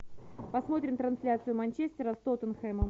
посмотрим трансляцию манчестера с тоттенхэмом